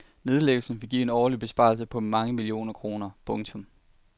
Nedlæggelsen vil give en årlig besparelse på mange millioner kroner. punktum